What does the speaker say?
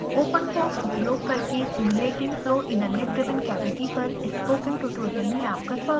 openfoam उपयोग करके simulating flow in a lid driven cavity पर spoken tutorial में आपका स्वागत है